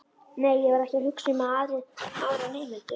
Nei, ég var ekki að hugsa um aðra nemendur.